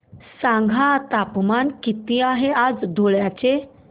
सांगा तापमान किती आहे आज धुळ्याचे